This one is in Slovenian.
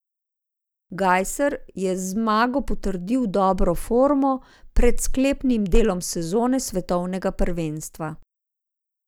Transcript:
Gajser je z zmago potrdil dobro formo pred sklepnim delom sezone svetovnega prvenstva.